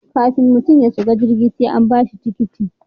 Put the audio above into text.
Kafin mutum ya shiga jirgi sai an ba shi tikiti